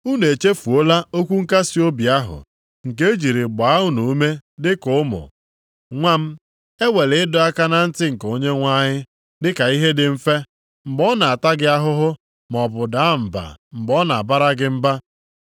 Unu echefuola okwu nkasiobi ahụ, nke e jiri gbaa unu ume dịka ụmụ, “Nwa m ewela ịdọ aka na ntị nke Onyenwe anyị dịka ihe dị mfe, mgbe ọ na-ata gị ahụhụ maọbụ daa mba mgbe ọ na-abara gị mba.